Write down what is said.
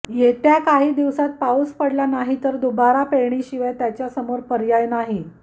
येत्या काही दिवसांत पाऊस पडला नाही तर दुबार पेरणीशिवाय त्याच्यासमोर पर्याय नाही